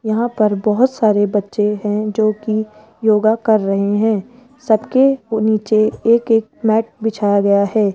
यहां पर बहोत सारे बच्चे है जो की योगा कर रहे है सबके नीचे एक एक मैट बिछाया गया है।